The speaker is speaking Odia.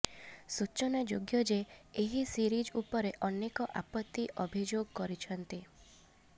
ସୂଚନାଯୋଗ୍ୟଯେ ଏହି ସିରିଜ ଉପରେ ଅନେକ ଆପତ୍ତି ଅଭିୟୋଗ କରିଛନ୍ତି